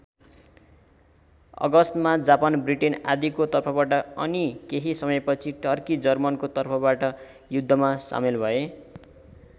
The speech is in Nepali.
अगस्तमा जापान ब्रिटेन आदिको तर्फबाट अनि केही समयपछि टर्की जर्मनीको तर्फबाट युद्धमा सामेल भए।